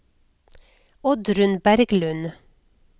Oddrun Berglund